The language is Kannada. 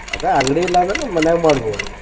ಅದ ಅಂಗಡಿಯಿಲ್ಲಾ ಅಂದ್ರ ಮನ್ಯಾಗ ಮಾಡ್ಬಹುದು.